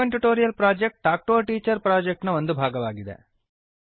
spoken tutorial project talk to a teacher project ನ ಒಂದು ಭಾಗ